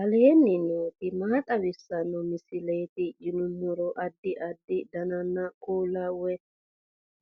aleenni nooti maa xawisanno misileeti yinummoro addi addi dananna kuula woy